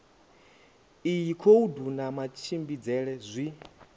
iyi khoudu na matshimbidzele zwi